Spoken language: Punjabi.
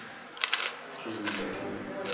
ਠੀਕ ਹੈ ਠੀਕ ਹੈ।